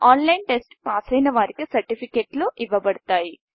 online test పాసైన వారికి సర్టిఫికేట్లు ఇవ్వబడతాయి